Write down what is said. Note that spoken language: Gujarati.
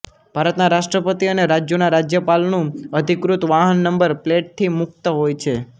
ભારતના રાષ્ટ્રપતિ અને રાજ્યોના રાજ્યપાલ નું અધિકૃત વાહન નંબર પ્લેટથી મુક્ત હોય છે